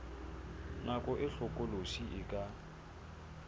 nako e hlokolosi e ka